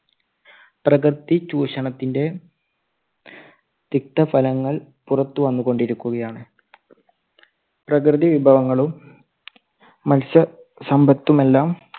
പ്രകൃതി ചൂഷണത്തിന്റെ തിക്തഫലങ്ങൾ പുറത്തു വന്നുകൊണ്ടിരിക്കുകയാണ്. പ്രകൃതി വിഭവങ്ങളും മനുഷ്യസമ്പത്തുമെല്ലാം